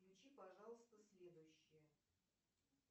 включи пожалуйста следующее